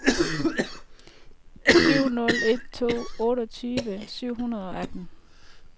syv nul en to otteogtyve syv hundrede og atten